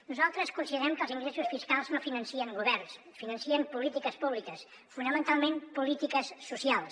nosaltres considerem que els ingressos fiscals no financen governs financen polítiques públiques fonamentalment polítiques socials